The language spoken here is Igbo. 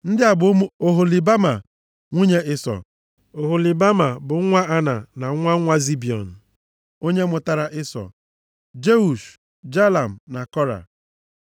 Ndị a bụ ụmụ Oholibama, nwunye Ịsọ. Oholibama bụ nwa Ana na nwa nwa Zibiọn. Ọ mụtaara Ịsọ Jeush, Jalam na Kora.